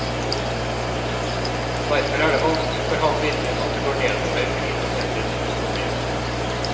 Derfor er det vanskelig for ham å innrømme at det går nedover med indonesisk økonomi.